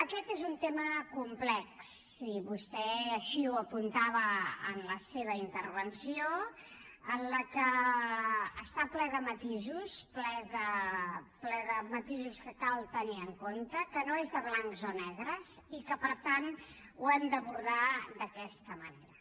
aquest és un tema complex i vostè així ho apuntava en la seva intervenció que està ple de matisos ple de matisos que cal tenir en compte que no és de blancs o negres i que per tant ho hem d’abordar d’aquesta manera